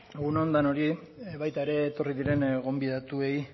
egun on denoi baita ere etorri diren gonbidatuei